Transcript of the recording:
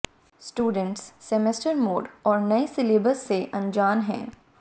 students semester mode और नए syllabus से अनजान हैं